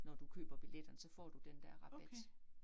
Når du køber billetterne, så får du den der rabat